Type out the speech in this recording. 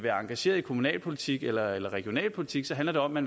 er engageret i kommunalpolitik eller eller regionalpolitik handler det om at